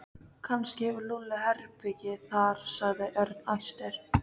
Kannski hefur Lúlli herbergi þar sagði Örn æstur.